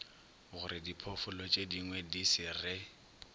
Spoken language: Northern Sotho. gorediphoofolo tšedingwe di se re